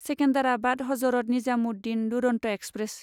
Secunderabad Hazrat Nizamuddin Duronto express